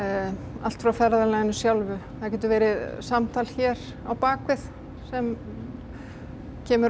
allt frá ferðalaginu sjálfu það getur verið samtal hér á bak við sem kemur